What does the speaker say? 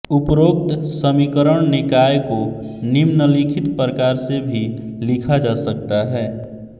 उपरोक्त समीकरण निकाय को निम्नलिखित प्रकार से भी लिखा जा सकता है